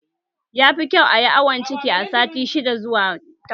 Yafi kyau ayi awon ciki a sati shidda zuwa takwas